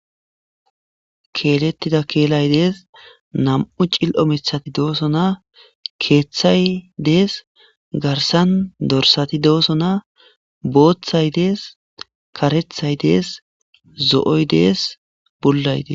Keelettida keelay dees. Nam7u cil7o mithati doosona. Keeththay dees. Garsan dorsati doosona. Booththay de7ees. karethay dees. Zo7oy dees bullay des.